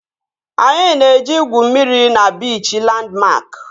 Anyị na-eje igwu mmiri na biichi Landmark